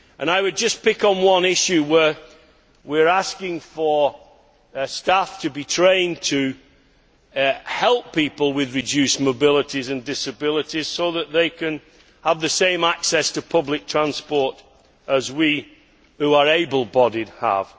I would just pick up on one issue, which concerns asking for staff to be trained to help people with reduced mobility and disabilities so that they can have the same access to public transport as those of us who are able bodied have.